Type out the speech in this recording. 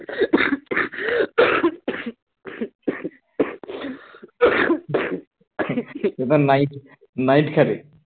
এবার night night খেলে